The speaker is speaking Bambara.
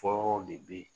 Fɔlɔw de bɛ ye